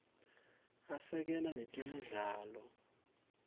asekela nemidlalo